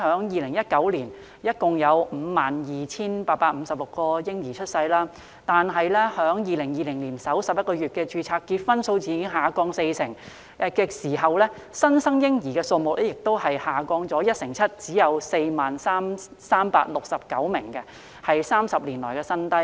2019年共有 52,856 名嬰兒出生，但2020年首11個月，註冊結婚數字下降四成，新生嬰兒人數亦下降一成七，只有 40,369 名，是30年來新低。